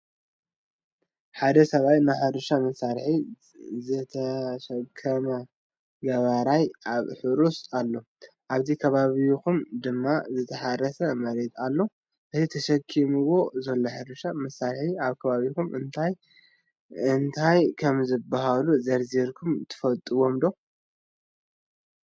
ሓደ ስብኣይ ናይ ሕርሻ መሳርሒ ዝተሸከመ ገባራይ ኣብ ሑሩስ ኣሎ ።ኣብቲ ከባቢኡ ድማ ዝተሓረሰ መሬት አሎ። እቲ ተሸኪምዎ ዘሎ ሕርሻ መሳርሒ ኣብ ከባቢኩም እንታይ እንታይ ከምዝባሃሉ ዘርዚርኩም ትፈልጥዎም ዶ?